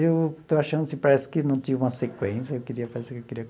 Eu estou achando assim que parece que não tinha uma sequência, eu queria fazer queria